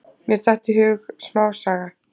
Mér datt í hug smásaga.